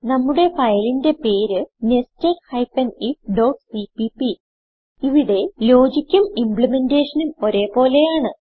നമ്മുടെ ഫയലിന്റെ പേര് nested ifസിപിപി ഇവിടെ ലോജിക്കും ഇംപ്ലിമെന്റെഷനും ഒരേ പോലെയാണ്